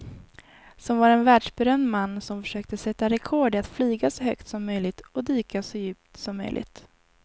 Som var en världsberömd man som försökte sätta rekord i att flyga så högt som möjligt och dyka så djupt som möjligt.